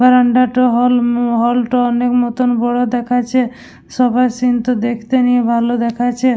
বারান্দাটা হল ম হল -টা অনেক নতুন বড় দেখাচ্ছে সবার সিন -টা দেখতে নিয়ে ভালো দেখাচ্ছে--